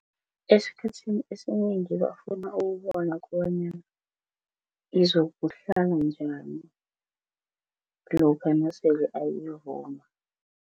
Esikhathini esinengi bafuna ukubona kobanyana izokuhlala njani lokha nasele ayivuma.